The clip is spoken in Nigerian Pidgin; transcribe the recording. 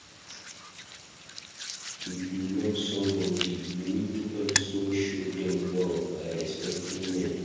If you love somebodi you need to also show dem love by respecting dem